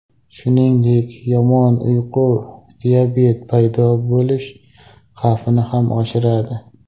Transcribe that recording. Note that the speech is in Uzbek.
Shuningdek, yomon uyqu diabet paydo bo‘lish xavfini ham oshiradi.